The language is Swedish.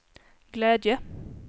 glädje